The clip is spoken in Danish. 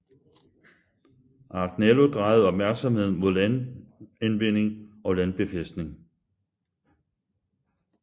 Agnello drejede opmærksomheden mod landindvinding og landbefæstning